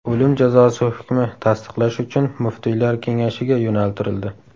O‘lim jazosi hukmi tasdiqlash uchun muftiylar kengashiga yo‘naltirildi.